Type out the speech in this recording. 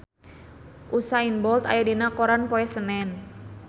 Usain Bolt aya dina koran poe Senen